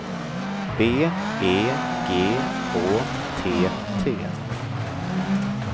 B E G Å T T